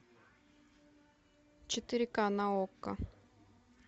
четыре ка на окко